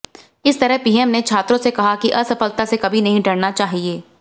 इस तरह पीएम ने छात्रों से कहा कि असफलता से कभी नहीं डरना चाहिए